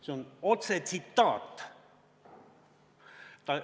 See on tsitaat.